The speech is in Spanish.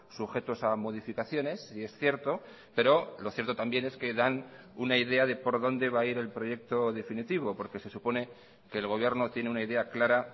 sujetos a modificaciones y es cierto pero lo cierto también es que dan una idea de por dónde va a ir el proyecto definitivo porque se supone que el gobierno tiene una idea clara